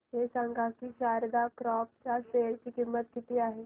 हे सांगा की शारदा क्रॉप च्या शेअर ची किंमत किती आहे